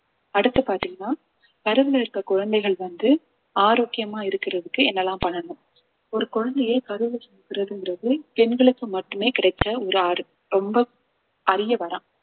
அடுத்து பாத்தீங்கன்னா கருவுல இருக்க குழந்தைகள் வந்து ஆரோக்கியமா இருக்கறதுக்கு என்னெல்லாம் பண்ணணும் ஒரு குழந்தையை கருவிலே சுமக்கிறதுங்கிறது பெண்களுக்கு மட்டுமே கிடைச்ச ஒரு ஆறு ரொம்ப அறிய வரம்